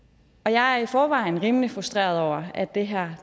jeg er i forvejen rimelig frustreret over at det her